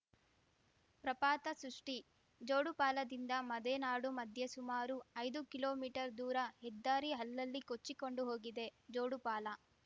ಪ್ರಪಾತ ಸೃಷ್ಟಿ ಜೋಡುಪಾಲದಿಂದ ಮದೆನಾಡು ಮಧ್ಯೆ ಸುಮಾರು ಐದು ಕಿಲೋಮೀಟರ್ ದೂರ ಹೆದ್ದಾರಿ ಅಲ್ಲಲ್ಲಿ ಕೊಚ್ಚಿಕೊಂಡು ಹೋಗಿದೆ ಜೋಡುಪಾಲ